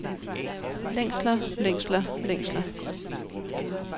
længsler længsler længsler